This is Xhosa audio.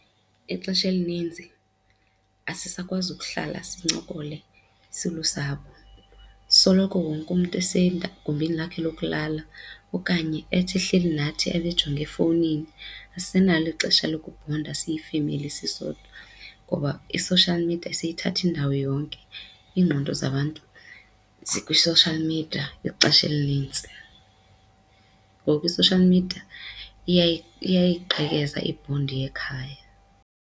Ixesha elininzi asisakwazi ukuhlala sincokole silusapho soloko wonke umntu esegumbini lakhe lokulala okanye ethi ehleli nathi abe ejonge efowunini. Asinalo ixesha lokubhonda siyifemeli sisodwa ngoba i-social media seyithathe indawo yonke, iingqondo zabantu zikwi-social media ixesha elinintsi. Ngoku i-social media iyayiqhekeza ibhondi yekhaya.